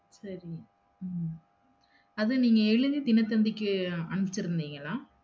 சரி உம் அத நீங்க எழுதி தினத் தந்திக்கு அனுப்சுருந்தீங்களா?